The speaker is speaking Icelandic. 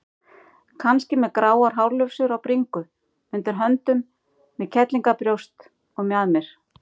Kannski með gráar hárlufsur á bringu, undir höndum, með kellíngabrjóst og mjaðmir.